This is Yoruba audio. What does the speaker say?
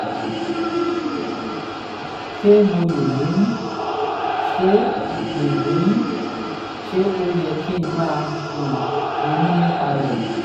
ṣé mo lè lóyún? ṣé lè lóyún? ṣé ó yẹ kí n máa um ronú nípa rẹ̀?